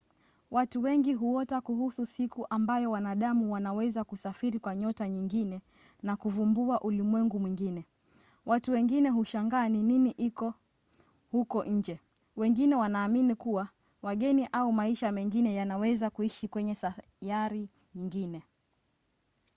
watu wengi huota kuhusu siku ambayo wanadamu wanaweza kusafiri kwa nyota nyingine na kuvumbua ulimwengu mwingine. watu wengine hushangaa ni nini iko huko nje wengine wanaamini kuwa wageni au maisha mengine yanaweza kuishi kwenye sayari nyingine